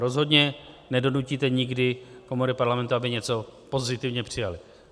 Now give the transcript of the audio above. Rozhodně nedonutíte nikdy komory Parlamentu, aby něco pozitivně přijaly.